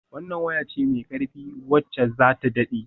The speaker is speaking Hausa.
Wannan waya ce mai ƙarfi wacce za ta daɗe.